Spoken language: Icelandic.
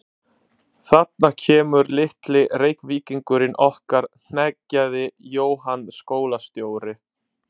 Þarna kemur litli Reykvíkingurinn okkar hneggjaði Jóhann skólastjóri.